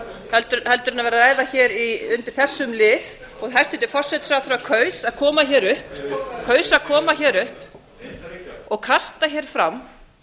heldur en vera að ræða hér undir þessum lið og hæstvirtur forsætisráðherra kaus að koma hér upp og kasta hér fram